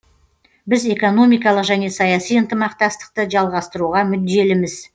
біз экономикалық және саяси ынтымақтастықты жалғастыруға мүдделіміз